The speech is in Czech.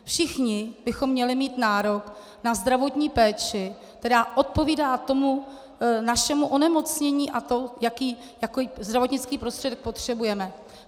Všichni bychom měli mít nárok na zdravotní péči, která odpovídá tomu našemu onemocnění a tomu, jaký zdravotnický prostředek potřebujeme.